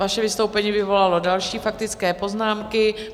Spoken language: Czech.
Vaše vystoupení vyvolalo další faktické poznámky.